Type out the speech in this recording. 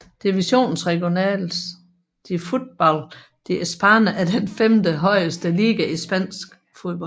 Divisiones regionales de fútbol de España er den femtehøjeste liga i spansk fodbold